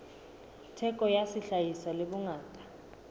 theko ya sehlahiswa le bongata